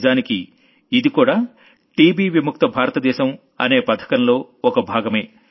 నిజానికి ఇదికూడా టీబీ విముక్త భారత దేశం అనే పథకంలో ఒక భాగమే